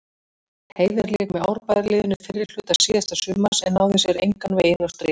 Heiðar lék með Árbæjarliðinu fyrri hluta síðasta sumars en náði sér engan veginn á strik.